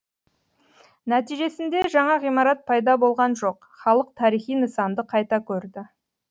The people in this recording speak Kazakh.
нәтижесінде жаңа ғимарат пайда болған жоқ халық тарихи нысанды қайта көрді